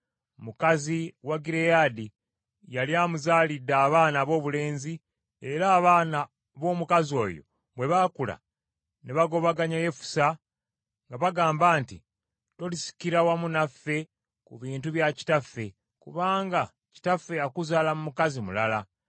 Mukazi wa Gireyaadi yali amuzaalidde abaana aboobulenzi, era abaana b’omukazi oyo bwe baakula, ne bagobaganya Yefusa nga bagamba nti, “Tolisikira wamu naffe ku bintu bya kitaffe, kubanga kitaffe yakuzaala mu mukazi mulala.”